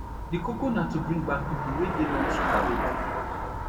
de koko na to bring back pipo wey dey long school break